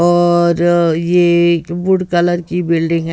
और ये एक वुड कलर की बिल्डिंग है।